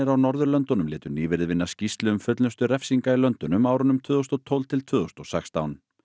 á Norðurlöndunum létu nýverið vinna skýrslu um fullnustu refsinga í löndunum á árunum tvö þúsund og tólf til tvö þúsund og sextán